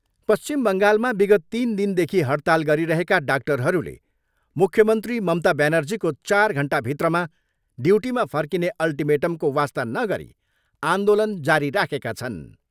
पश्चिम बङ्गालमा विगत तिन दिनदेखि हडताल गरिरहेका डाक्टरहरूले मुख्मन्त्री ममता ब्यानर्जीको चार घन्टा भित्रमा ड्युटीमा फर्किने अल्टिमेटमको वास्ता नगरी आन्दोलन जारी राखेका छन्।